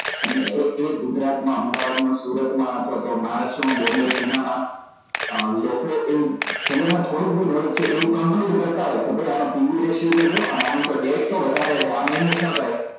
અને એ એ ગુજરાત માં અમદાવાદ માં સુરત માં અથવા તો મહારાષ્ટ્રમાં bombay પુના માં અ લોકો એ જે લોકો બેસી થોડુંક બી knowledge છે એવુ કરતા હોય કે ભાઈ આનો PUratio તો જો અને આના તો વધારવા છે આમાં invest ના કરાય